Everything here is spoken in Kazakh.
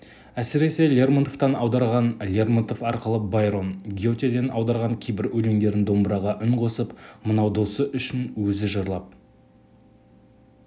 әсіресе лермонтовтан аударған лермонтов арқылы байрон гетеден аударған кейбір өлеңдерін домбыраға үн қосып мынау досы үшін өзі жырлап